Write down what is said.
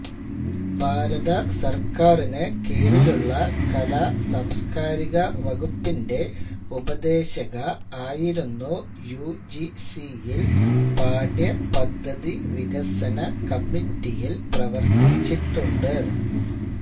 ഭാരതസർക്കാരിനു കീഴിലുള്ള കലാസാംസ്കാരിക വകുപ്പിന്റെ ഉപദേശക ആയിരുന്നു യു ജി സിയിൽ പാഠ്യപദ്ധതി വികസന കമ്മിറ്റിയിൽ പ്രവർത്തിച്ചിട്ടുണ്ട്